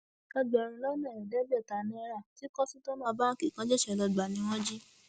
ẹgbẹrún lọnà ẹẹdẹgbẹta náírà tí kọsítọmọ báǹkì kan ṣẹṣẹ lọọ gbà ni wọn jí